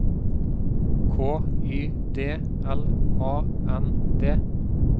K Y D L A N D